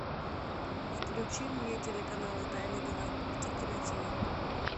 включи мне телеканал тайны галактики на тв